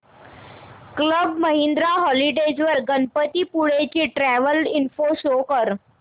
club Mahindra Holidays वर गणपतीपुळे ची travel info show कर